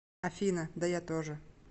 афина да я тоже